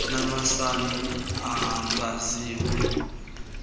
nama san alwaziwa